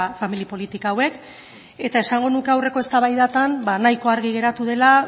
familia politika hauek eta esango nuke aurreko eztabaidatan nahiko argi geratu dela